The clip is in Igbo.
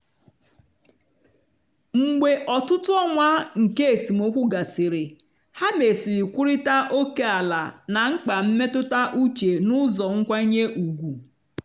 mgbe ọtụtụ ọnwa nke esemokwu gasịrị ha mesịrị kwurịta ókèala na mkpa mmetụta uche n'ụzọ nkwanye ùgwù.